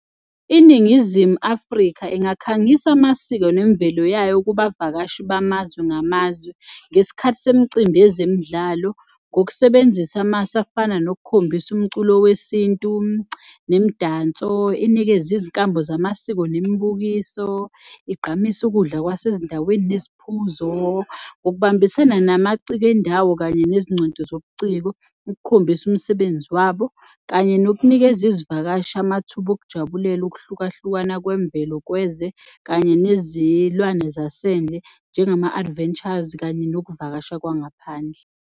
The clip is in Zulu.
INingizimu Afrika engakhangisa amasiko nemvelo yayo kubavakashi bamazwe ngamazwe ngesikhathi semicimbi yezemidlalo ngokusebenzisa amasu afana nokukhombisa umculo wesintu nemidanso, inikeze izinkambo zamasiko nemibukiso, igqamise ukudla kwasezindaweni neziphuzo, ngokubambisana namaciko endawo kanye nezingcweti zobuciko ukukhombisa umsebenzi wabo kanye nokunikeza izivakashi amathuba okujabulela ukuhlukahlukana kwemvelo kanye nezilwane zasendle njengama-adventures kanye nokuvakasha kwangaphandle.